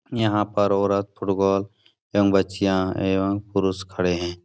यहाँ पर औरत फुटबॉल एवं बच्चियां एवं पुरुष खड़े है।